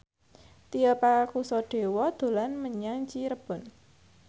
Tio Pakusadewo dolan menyang Cirebon